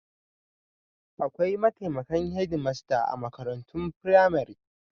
Akwai mataimakan hedmasta a makarantun firamare.